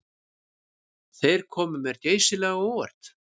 Þeir komu mér geysilega á óvart